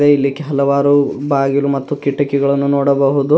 ಮತ್ತೆ ಇಲ್ಲಿ ಹಲವಾರು ಬಾಗಿಲು ಮತ್ತು ಕಿಟಕಿಗಳನ್ನು ನೋಡಬಹುದು.